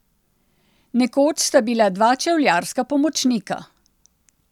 Nekoč sta bila dva čevljarska pomočnika.